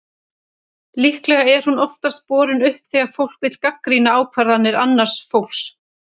Líklega er hún oftast borin upp þegar fólk vill gagnrýna ákvarðanir annars fólks.